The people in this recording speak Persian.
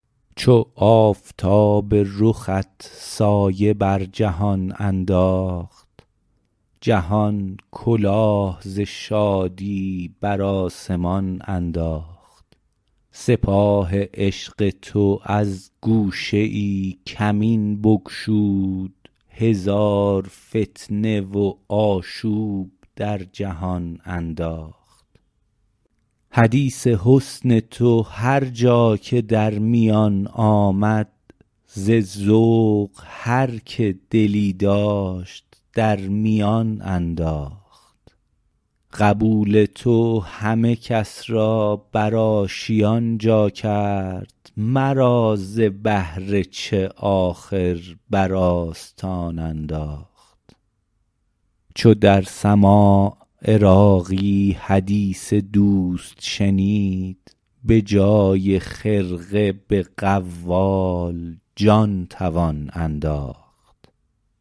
چو آفتاب رخت سایه بر جهان انداخت جهان کلاه ز شادی بر آسمان انداخت سپاه عشق تو از گوشه ای کمین بگشود هزار فتنه و آشوب در جهان انداخت حدیث حسن تو هر جا که در میان آمد ز ذوق هر که دلی داشت در میان انداخت قبول تو همه کس را بر آشیان جا کرد مرا ز بهر چه آخر بر آستان انداخت چو در سماع عراقی حدیث دوست شنید بجای خرقه به قوال جان توان انداخت